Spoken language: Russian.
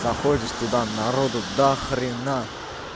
заходишь туда народу дохрена